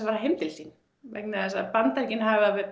fara heim til sín vegna þess að Bandaríkin